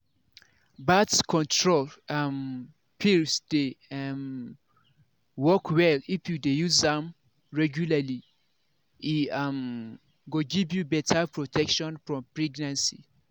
birth control um pills dey um work well if you dey use am regularly e um go give you better protection from pregnancy.